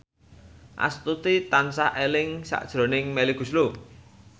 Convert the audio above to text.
Astuti tansah eling sakjroning Melly Goeslaw